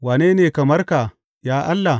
Wane ne kamar ka, ya Allah?